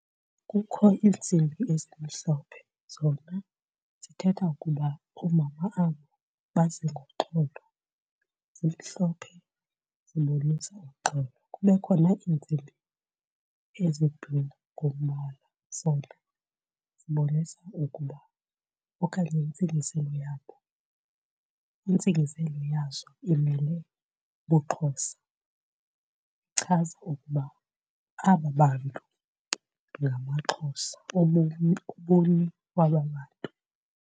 Kukho iintsimbi ezimhlophe, zona zithetha ukuba oomama abo baze ngomxholo zimhlophe zibonisa uxolo. Kube khona iintsimbi ezibhlowu ngombala, zona zibonisa ukuba okanye intsingiselo yabo intsingiselo yazo imele ubuXhosa ichaza ukuba aba bantu ngamaXhosa kwaba bantu.